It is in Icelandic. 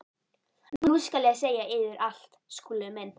Nú skal ég segja yður allt, Skúli minn.